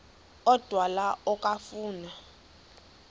odwa la okafuna